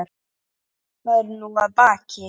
Það er nú að baki.